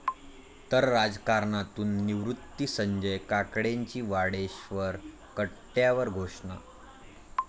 ..तर राजकारणातून निवृत्ती, संजय काकडेंची वाडेश्वर कट्ट्यावर घोषणा